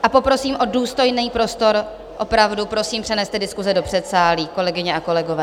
A poprosím o důstojný prostor, opravdu prosím, přeneste diskuse do předsálí, kolegyně a kolegové.